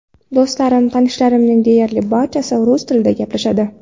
Do‘stlarim, tanishlarimning deyarli barchasi rus tilida gaplashadi.